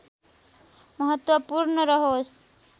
महत्त्वपूर्ण रह्यो